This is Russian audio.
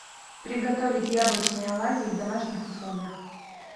приготовить яблочные оладьи в домашних условиях